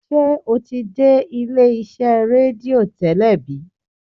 ṣe o ti dé ilé iṣé redio tẹlẹ bi?